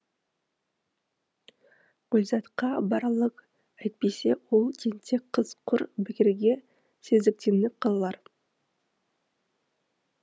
гүлзатқа баралық әйтпесе ол тентек қыз құр бекерге сезіктеніп қалар